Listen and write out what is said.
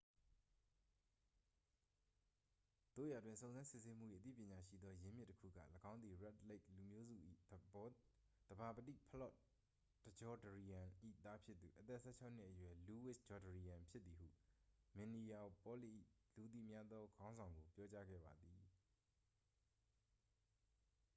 သို့ရာတွင် စုံစမ်းစစ်ဆေးမှု၏ အသိပညာရှိသောရင်းမြစ်တစ်ခုက ၎င်းသည် red lake လူမျိုးစု၏သဘာပတိ ဖလော့တ်ဂျောဒရီယမ် ၏သားဖြစ်သူ အသက် 16-နှစ်အရွယ် လူးဝစ်ဂျောဒရီယမ် ဖြစ်သည်ဟု မင်နီယာပေါလစ်၏ လူသိများသောခေါင်းဆောင်ကို ပြောကြားခဲ့ပါသည်